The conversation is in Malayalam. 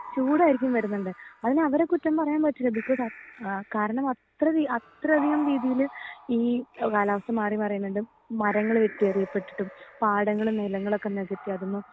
ചൂടായിരിക്കും വരുന്ന്ണ്ട് അതിന് അവരെ കുറ്റം പറയാൻ പറ്റില്ല ബികോസ് അ ഏഹ് കാരണം അത്ര അത്രധികം രീതീല് ഈ കാലാവസ്ഥ മാറി മാറിയിന്ന്ണ്ട് മരങ്ങൾ വെട്ടിയെറിപെട്ടിട്ടും പാടങ്ങൾ നിലങ്ങളൊക്കെ നെകത്തി അതിനെ